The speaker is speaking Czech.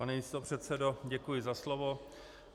Pane místopředsedo, děkuji za slovo.